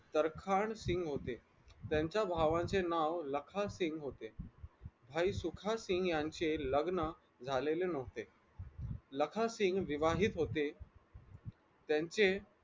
दरखानसिग होते त्यांच्या भावाचे नाव लखासिंग होते भाई सुखासींग यांचे लग्न झालेले नव्हते लखासिंग विवाहित होते त्यांचे